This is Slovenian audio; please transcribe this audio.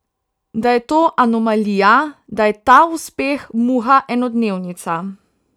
Da je to anomalija, da je ta uspeh muha enodnevnica.